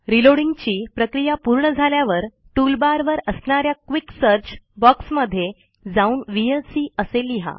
रीलोडींगची प्रक्रिया पूर्ण झाल्यावर टूलबारवर असणाऱ्या क्विक सर्च बॉक्समध्ये जाऊन व्हीएलसी असे लिहा